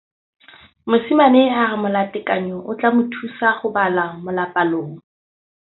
Mosimane a re molatekanyô o tla mo thusa go bala mo molapalong.